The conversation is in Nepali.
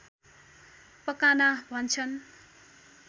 पकाना भन्छन्